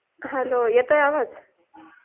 hello येतोय आवाज